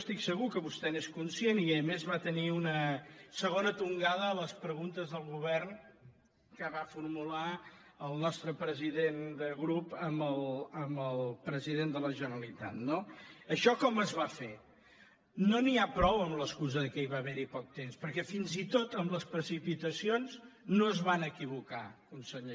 estic segur que vostè n’és conscient i a més va tenir una segona tongada a les preguntes del govern que va formular el nostre president de grup amb el president de la generalitat no això com es va fer no n’hi ha prou amb l’excusa que va haver hi poc temps perquè fins i tot amb les precipitacions no es van equivocar conseller